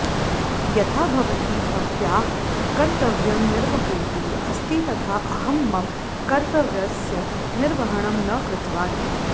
यथा भवती भवत्याः कर्तव्यं निर्वहन्ती अस्ति तथा अहं मम कर्तव्यस्य निर्वहणं न कृतवान्